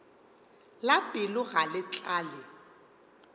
la pelo ga le tlale